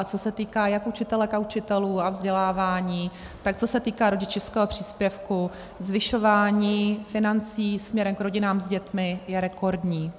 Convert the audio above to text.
A co se týká jak učitelek a učitelů a vzdělávání, tak co se týká rodičovského příspěvku, zvyšování financí směrem k rodinám s dětmi je rekordní.